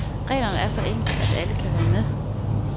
Reglerne er så enkle, at alle kan være med.